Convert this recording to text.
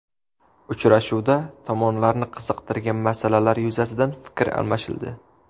Uchrashuvda tomonlarni qiziqtirgan masalalar yuzasidan fikr almashildi.